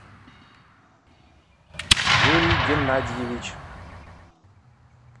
юрий геннадьевич